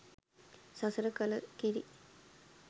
සසර කල කිරි